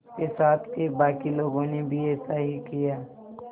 उसके साथ के बाकी लोगों ने भी ऐसा ही किया